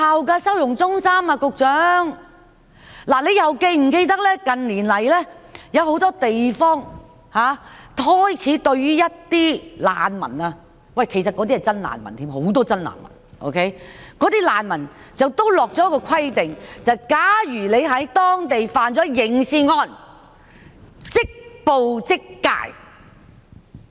局長又是否記得，近年來，有很多地方開始對一些難民——其實他們甚至是真正的難民，而很多也是真正的難民——訂下一個規定，便是假如他們在當地犯下刑事案，便會即捕即解。